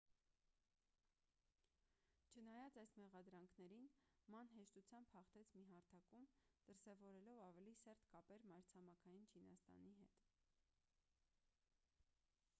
չնայած այս մեղադրանքներին ման հեշտությամբ հաղթեց մի հարթակում դրսևորելով ավելի սերտ կապեր մայրցամաքային չինաստանի հետ